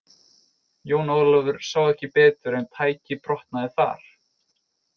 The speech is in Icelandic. Jón Ólafur sá ekki betur en tækið brotnaði þar.